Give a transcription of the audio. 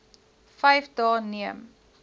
vyf dae neem